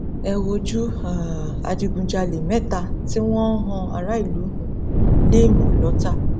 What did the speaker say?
ẹ wojú um adigunjalè mẹta tí wọn ń han aráàlú um léèmọ lọtà